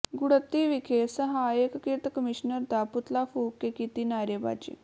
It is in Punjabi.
ਗੁੜੱਦੀ ਵਿਖੇ ਸਹਾਇਕ ਕਿਰਤ ਕਮਿਸ਼ਨਰ ਦਾ ਪੁਤਲਾ ਫ਼ੂਕ ਕੇ ਕੀਤੀ ਨਾਅਰੇਬਾਜ਼ੀ